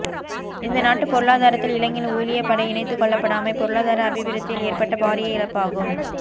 இந்த நாட்டுப் பொருளாதாரத்தில் இளைஞர் ஊழியப் படை இணைத்துக் கொள்ளப்படாமை பொருளாதார அபிவிருத்தியில் ஏற்பட்ட பாரிய இழப்பாகும்